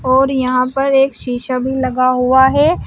और यहां पर एक शीशा भी लगा हुआ है।